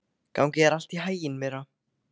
Gangi þér allt í haginn, Myrra.